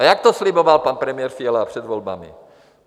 A jak to sliboval pan premiér Fiala před volbami?